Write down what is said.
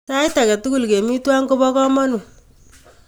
Sait ake tukul kemi twai kopo kamanut.